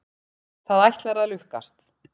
Það ætlar að lukkast.